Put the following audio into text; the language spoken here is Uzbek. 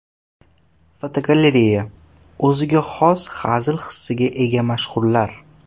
Fotogalereya: O‘ziga xos hazil hissiga ega mashhurlar.